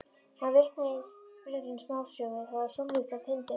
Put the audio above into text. Hann vitnaði í byrjun smásögu: Það var sólríkt á Tindum.